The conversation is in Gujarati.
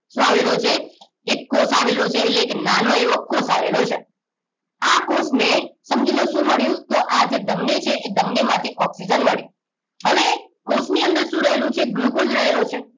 શું આવેલો છે એક કોષ આવેલો છે એટલે કે એક નાનો એવો કોષ આવેલો છે આ કોષને સમજીલો શું મળિયું આ જે ધમની છે ધમની માંથી ઓક્સિજન મળે હવે કોષ ની અંદર શું રહેલું છે ગ્લુકોસે રહેલો છે